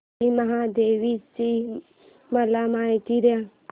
श्री मोहटादेवी ची मला माहिती दे